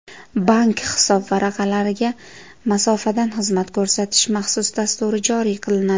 Bank hisobvaraqlariga masofadan xizmat ko‘rsatish maxsus dasturi joriy qilinadi.